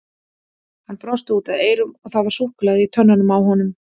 Hann brosti út að eyrum og það var súkkulaði í tönnunum á honum.